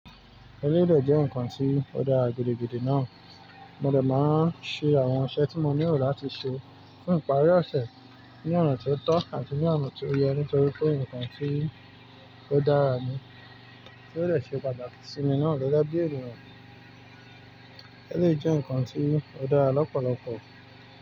Eléyìí dẹ jẹ́ ǹkan tí ó dára gidigidi náà. Mo dê máa ń ṣe àwọn iṣẹ tí mo nílò láti ṣe fún ìparí ọ̀ṣẹ́ ní ọ̀nà ti ó tọ́ àti ní ọ̀nà ti ó yẹ nítorí pé ǹkan tí ó dára ni. Ó dẹ ṣe pàtàkì sí mi náà gêgê bí ènìyàn. Eléyìí jẹ́ ǹkan tí ó dára lọ́pọ̀lọpọ̀.